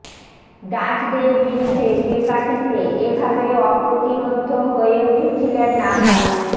ডাচদের বিরুদ্ধে তেকাঠিতে এ ভাবেই অপ্রতিরোধ্য হয়ে উঠেছিলেন নাভাস